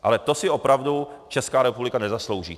Ale to si opravdu Česká republika nezaslouží.